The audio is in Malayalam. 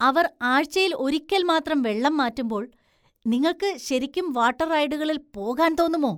അവർ ആഴ്‌ചയിൽ ഒരിക്കൽ മാത്രം വെള്ളം മാറ്റുമ്പോൾ നിങ്ങൾക്ക് ശരിക്കും വാട്ടർ റൈഡുകളില്‍ പോകാൻ തോന്നുമോ?